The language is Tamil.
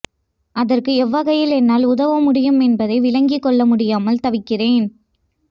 அதற்கு எவ்வகையில் என்னால் உதவ முடியும் என்பதை விளங்கிக் கொள்ள முடியாமல் தவிக்கிறேன்